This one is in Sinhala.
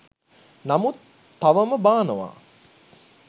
නමුත් තවම බානවා